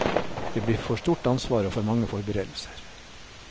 Det blir for stort ansvar og for mange forberedelser.